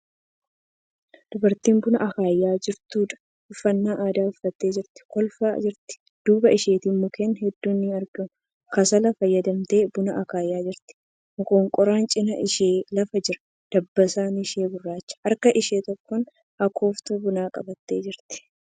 Dubartii buna akaayaa jirtuudha. Uffata aadaa uffattee jirti. Kolfaa jirti. Duuba isheetti mukkeen hedduun ni argamu. Kasala fayyadamtee buna akaayaa jirti. Moqonqoraan cinaa ishee lafa jira. Dabbasaan ishee gurraacha. Harka ishee tokkoon akooftuu bunaa qabattee jirti.